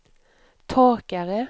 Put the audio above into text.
torkare